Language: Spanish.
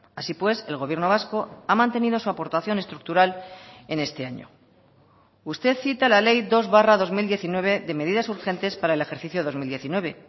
así pues el gobierno vasco ha mantenido su aportación estructural en este año usted cita la ley dos barra dos mil diecinueve de medidas urgentes para el ejercicio dos mil diecinueve